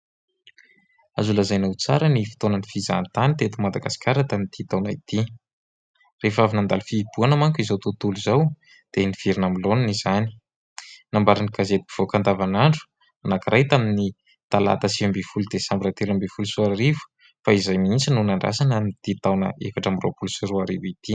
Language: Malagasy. Azo lazaina ho tsara ny fotoanany fizahantany teto Madagasikara tamin'ity taona ity ; rehefa avy nandalo fihibohana manko izao tontolo izao dia niverina amin'ny laoniny izany, nambaran'ny gazety mpivoaka andavanandro anankiray tamin'ny talata, sivy ambin'ny folo, desambra, telo ambin'ny folo sy roa arivo fa izay mihitsy no nandrasana ity taona efatra amby roapolo sy roa arivo ity.